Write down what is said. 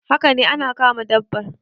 Haka ne ana kama dabbar